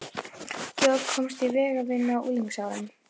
Georg komst í vegavinnu á unglingsárunum.